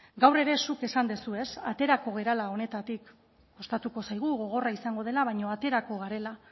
gaur ere zuk esan duzu aterako garela honetatik kostatuko zaigu gogorra izango dela baina aterako garela